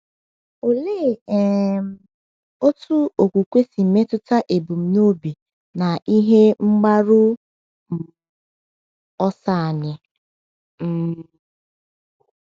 Olee um otú okwukwe si metụta ebumnobi na ihe mgbaru um ọsọ anyị? um